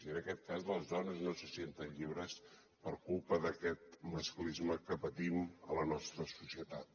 i en aquest cas les dones no se senten lliures per culpa d’aquest masclisme que patim en la nostra societat